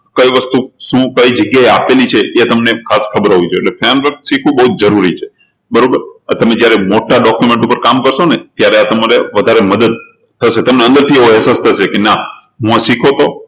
કઈ વસ્તુ શું કઈ જગ્યાએ આપેલી છે એ જગ્યા તમને ખાસ ખબર હોવિ જોઈએ એટલે framework શીખવું એ બહુજ જરૂરી છે બરોબર આ તમે જયારે મોટા document ઉપર કામ કરશો ને ત્યારે આ તમારે વધારે મદદ કરશે તમને અંદરથી એવો અહેસાસ થશે કે ના હું શીખ્યો હતો